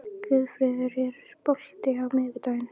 Guðfreður, er bolti á miðvikudaginn?